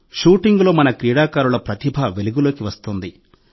షూటింగ్లో మన క్రీడాకారుల ప్రతిభ వెలుగులోకి వస్తోంది